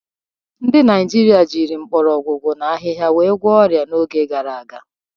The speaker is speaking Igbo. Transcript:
Ndị Naijiria jiri mgbọrọgwụ na ahịhịa wee gwọọ ọrịa n'oge gara aga.